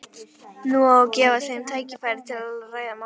Nú á að gefa þeim tækifæri til að ræða málin.